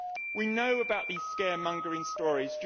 We know about these scaremongering stories